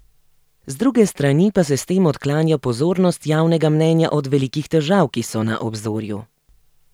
Z druge strani pa se s tem odklanja pozornost javnega mnenja od velikih težav, ki so na obzorju.